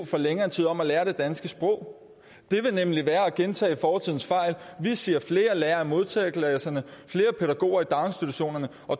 længere tid om at lære det danske sprog det vil nemlig være at gentage fortidens fejl vi siger flere lærere i modtagerklasserne flere pædagoger i daginstitutionerne